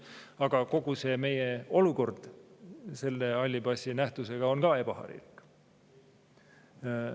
Aga kogu see meie olukord seoses halli passi nähtusega on ka ebaharilik.